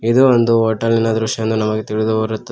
ಇದು ಒಂದು ಹೋಟೆಲಿನ ದೃಶ್ಯ ಎಂದು ನಮಗೆ ತಿಳಿದು ಬರುತ್ತದೆ.